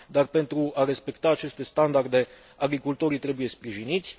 Dar, pentru a respecta aceste standarde, agricultorii trebuie sprijiniți.